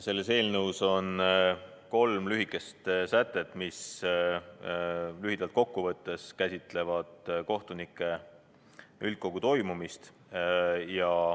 Selles eelnõus on kolm lühikest sätet, mis lühidalt kokku võttes käsitlevad kohtunike üldkogu toimumist.